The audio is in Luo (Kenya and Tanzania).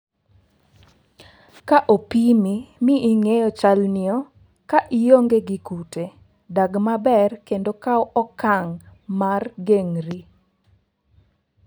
"Ka opimi mi ing'eyo chalnio, ka ionge gi kute, dag maber kendo kaw okang' mar geng'ri.